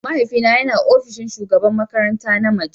Mahaifina yana ofishin shugabar makaranta na mace.